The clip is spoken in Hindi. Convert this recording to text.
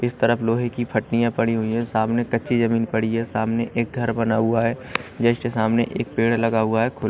इस तरफ लोहे की फ़टनिया पड़ी हुई है सामने कच्ची जमीन पड़ी है सामने एक घर बना हुआ है जस्ट सामने एक पेड़ लगा हुआ है --